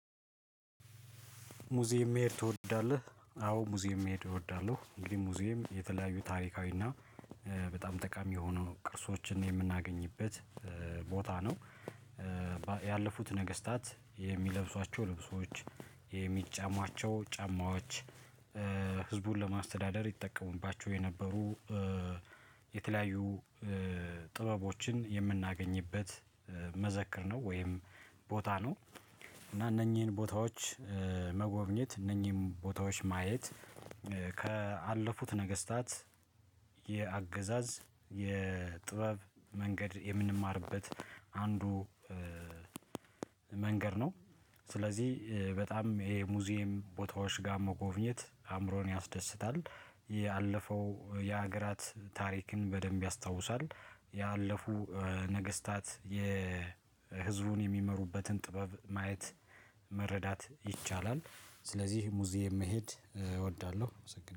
ሙዚየም መሄድ ትወዳለህ አዎ ሙዚየም መሄድ እወዳለሁ እንግዲህ ሙዚየም የተለያዩ ታሪካዊና እና በጣም ጠቃሚ የሆነው ቅርሶችን የምናገኝበት ቦታ ነው። ያለፉት ነገስታት የሚለብሷቸው ልብሶች የሚጫሟቸው ጫማዎች ህዝቡን ለማስተዳደር ይጠቀሙባችሁ የነበሩ የተለያዩ ጥበቦችን የምናገኝበት መዘከር ነው። ወይም ቦታ ነው። እና እነኚህን ቦታዎች መጎብኘት እነኚህን ቦታዎች ማየት ያለፉት ነገስታት የሚለብሷቸው ልብሶች የሚጫሟቸው ጫማዎች ህዝቡን ለማስተዳደር ይጠቀሙባችሁ የነበሩ ስለዚህ በጣም ይሄ ሙዚየም ቦታዎች ጋር መጎብኘት አእምሮን ያስደስታል። ያለፈው የሀገራት ታሪክን በደንብ ያስታውሳል። ያለፉ ነገስታት ህዝቡን የሚመሩበትን ጥበብ ማየት መረዳት ይቻላል። ስለዚህ ሙዚየም መሄድ እወዳለሁ